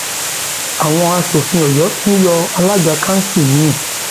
àwọn aṣòfin ọyọ tún yọ alága kanṣu mi